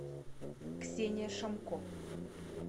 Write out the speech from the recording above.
ксения шамко